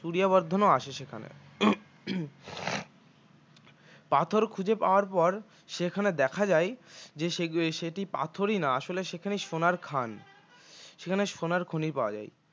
সূরিয়া বর্ধনও আসে সেখানে পাথর খুঁজে পাওয়ার পর সেখানে দেখা যায় যে সেই সেটি পাথরই না আসলে সেখানে সোনার খান সেখানে সোনার খনি পাওয়া যায়